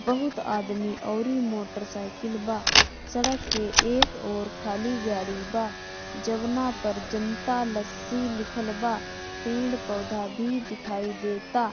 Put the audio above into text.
बोहोत आदमी और इ मोटर साइकिल बा सड़क के एक ओर खाली गाड़ी बा जउना पर जनता लस्सी दिखल बा पेड़-पौधा भी देखाई देता।